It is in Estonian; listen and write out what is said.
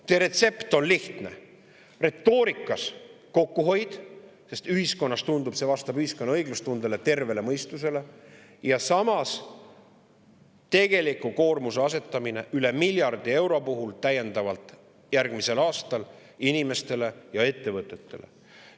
See retsept on lihtne: retoorikas kokkuhoiust, sest tundub, et see vastab ühiskonna õiglustundele, tervele mõistusele, aga samal ajal tegelikult asetate üle miljardi eurose täiendava koormuse järgmisel aastal inimestele ja ettevõtetele.